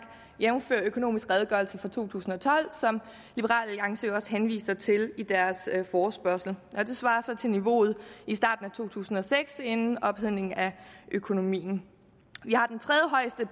jævnfør økonomisk redegørelse for to tusind og tolv som liberal alliance jo også henviser til i deres forespørgsel og det svarer så til niveauet i starten af to tusind og seks inden ophedningen af økonomien